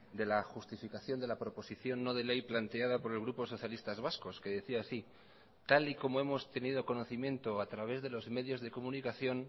de la justificación de la proposición no de ley planteada por el grupo socialistas vascos que decía así tal y como hemos tenido conocimiento a través de los medios de comunicación